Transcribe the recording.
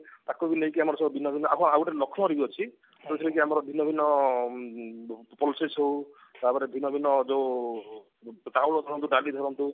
ତାକୁ ବି ନେଇ ଆମର ସବୁ ଭିନ୍ନ ଭିନ୍ନ ହଁ ଆଉ ଗୋଟେ ବି ଲକ୍ଷ୍ନୋ ରେ ବି ଅଛି ଯୋଉଥିରେ କି ଆମର ଭିନ୍ନ ଭିନ୍ନ ଉଁ proses ହଉ ତାପରେ ଭିନ୍ନ ଭିନ୍ନ ଯୋଉ ଚାଉଳ ଧରନ୍ତୁ ଡାଲି ଧରନ୍ତୁ